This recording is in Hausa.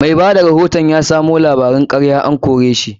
Mai bada rahoton da ya asamo labarun karya an kore shi.